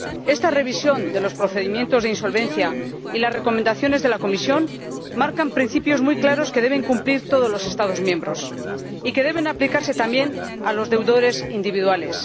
Esta revisión de los procedimientos de insolvencia y las recomendaciones de la Comisión marcan principios muy claros que deben cumplir todos los Estados miembros y que deben aplicarse también a los deudores individuales.